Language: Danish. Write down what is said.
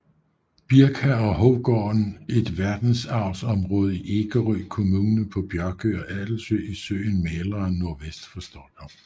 Birka og Hovgården et verdensarvsområde i Ekerö kommun på Björkö og Adelsö i søen Mälaren nordvest for Stockholm